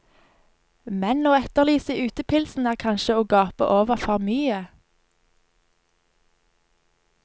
Men å etterlyse utepilsen er kanskje å gape over for mye.